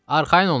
Arxayın olun, ağa!